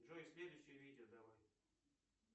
джой следующее видео давай